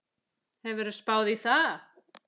Hefurðu spáð í það?